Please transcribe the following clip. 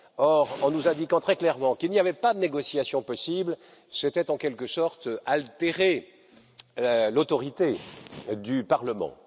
Or, en nous indiquant très clairement qu'il n'y avait pas de négociation possible, c'était en quelque sorte altérer l'autorité du Parlement.